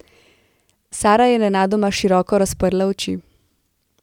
Sara je nenadoma široko razprla oči.